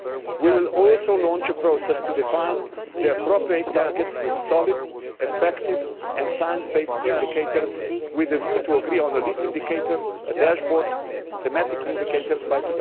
We will also launch a process to define the appropriate targets with solid, effective and science based indicators with a view to agreeing on a lead indicator, a dashboard and thematic indicators